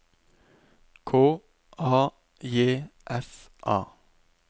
K A J S A